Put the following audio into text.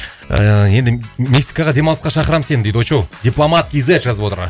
ііі енді мексикаға демалысқа шақырамын сені дейді очоу дипломат кз жазып отыр